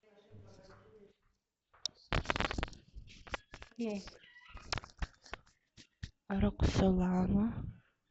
роксолана